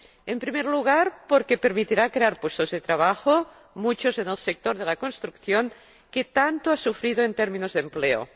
En primer lugar, porque permitirá crear puestos de trabajo, muchos en el sector de la construcción, que tanto ha sufrido en términos de empleo